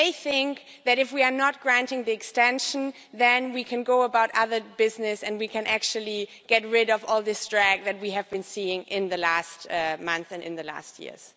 They think that, if we do not grant the extension, then we can go about other business and we can actually get rid of all this drag that we have been seeing in the last month and in the last years.